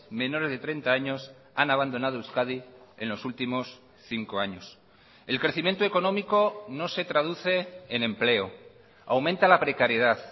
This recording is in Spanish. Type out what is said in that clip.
menores de treinta años han abandonado euskadi en los últimos cinco años el crecimiento económico no se traduce en empleo aumenta la precariedad